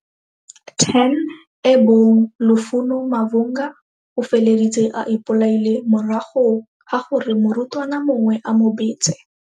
10 e bong Lufuno Mavhunga, o feleditse a ipolaile morago ga gore morutwana mongwe a mobetse.